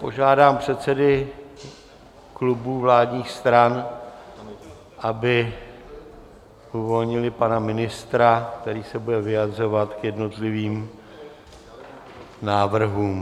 Požádám předsedy klubů vládních stran, aby uvolnili pana ministra, který se bude vyjadřovat k jednotlivým návrhům.